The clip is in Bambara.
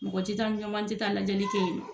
Mɔgɔ te taa te taa lajɛli kɛ yen